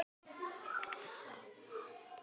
Skónum komið fyrir?